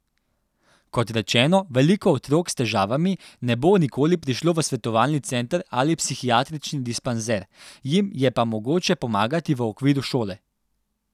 Kot rečeno, veliko otrok s težavami ne bo nikoli prišlo v svetovalni center ali psihiatrični dispanzer, jim je pa mogoče pomagati v okviru šole.